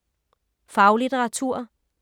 Faglitteratur